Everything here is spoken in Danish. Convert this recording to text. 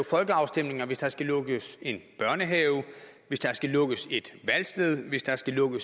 folkeafstemning hvis der skal lukkes en børnehave hvis der skal lukkes et valgsted hvis der skal lukkes